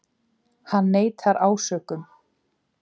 Hann neitar ásökunum